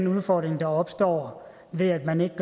udfordringen der opstår ved at man ikke